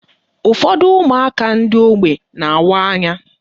Ụfọdụ ụmụaka ndị ógbè na-awa anya